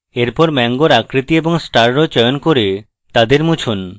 এখন mango আকৃতি এবং star row চয়ন করুন এবং তাদের মুছুন